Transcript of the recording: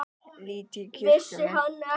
Lít í kringum mig.